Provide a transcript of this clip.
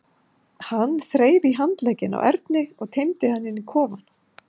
Hann þreif í handlegginn á Erni og teymdi hann inn í kofann.